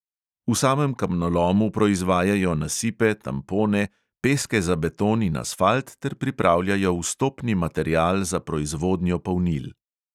V samem kamnolomu proizvajajo nasipe, tampone, peske za beton in asfalt ter pripravljajo vstopni material za proizvodnjo polnil.